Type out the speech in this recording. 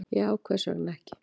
Já, hvers vegna ekki?